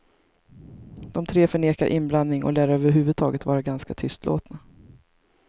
De tre förnekar inblandning och lär över huvud taget vara ganska tystlåtna.